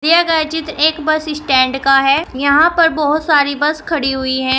दिए गए चित्र एक बस स्टैंड का है यहां पर बहुत सारी बस खड़ी हुई है।